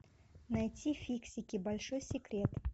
найти фиксики большой секрет